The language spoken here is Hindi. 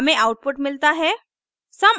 हमें आउटपुट मिलता है